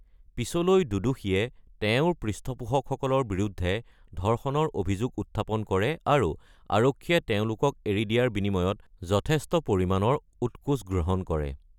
পিছলৈ দুদুষীয়ে তেওঁৰ পৃষ্ঠপোষকসকলৰ বিৰুদ্ধে ধৰ্ষণৰ অভিযোগ উত্থাপন কৰে আৰু আৰক্ষীয়ে তেওঁলোকক এৰি দিয়াৰ বিনিময়ত যথেষ্ট পৰিমাণৰ উৎকোচ গ্ৰহণ কৰে।